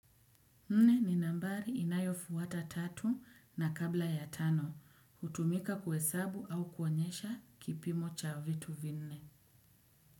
Nne ni nambari inayofuata tatu na kabla ya tano. Hutumika kuhesabu au kuonyesha kipimo cha vitu vinne.